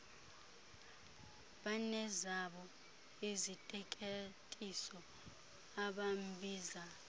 banezabo iziteketiso abambiza